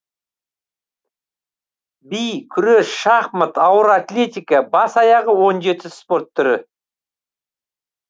би күрес шахмат ауыр атлетика бас аяғы он жеті спорт түрі